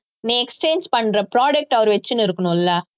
நீ exchange பண்ற product அவர் வச்சின்னு இருக்கணும் இல்ல